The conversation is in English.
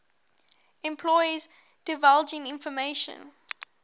employees divulging information